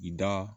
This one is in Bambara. I da